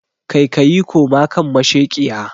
Kaikayi koma kan masheƙiya!